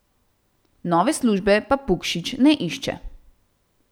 Nove službe pa Pukšič ne išče.